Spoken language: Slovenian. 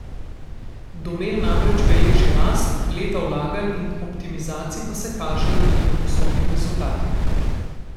Domel namreč beleži rast, leta vlaganj in optimizacij pa se kažejo tudi v poslovnih rezultatih.